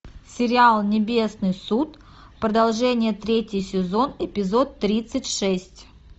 сериал небесный суд продолжение третий сезон эпизод тридцать шесть